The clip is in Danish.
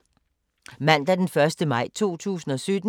Mandag d. 1. maj 2017